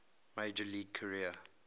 major league career